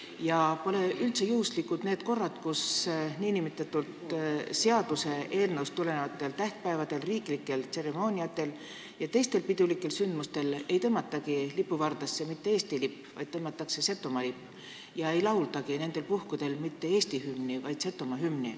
Ja pole üldse juhuslikud need korrad, kui sellest seaduseelnõust tulenevatel tähtpäevadel, riiklikel tseremooniatel ja teistel pidulikel sündmustel ei tõmmatagi lipuvardasse mitte Eesti lipp, vaid Setomaa lipp ning ei laulda mitte Eesti hümni, vaid Setomaa hümni.